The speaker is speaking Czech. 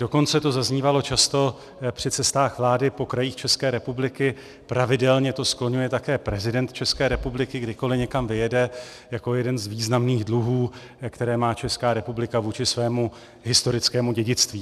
Dokonce to zaznívalo často při cestách vlády po krajích České republiky, pravidelně to skloňuje také prezident České republiky, kdykoli někam vyjede, jako jeden z významných dluhů, které má Česká republika vůči svému historickému dědictví.